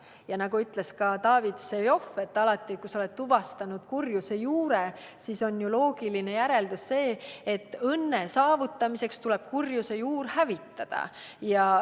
Ja nagu ütles ka David Vseviov, on alati, kui ollakse tuvastanud kurjuse juur, loogiline järeldus see, et õnne saavutamiseks tuleb kurjuse juur hävitada.